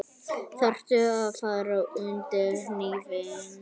Þarftu að fara undir hnífinn?